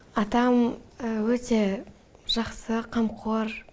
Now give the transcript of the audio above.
атам өте жақсы қамқор